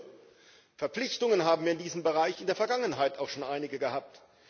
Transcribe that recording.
Nur Verpflichtungen haben wir in diesem Bereich auch in der Vergangenheit schon einige gehabt.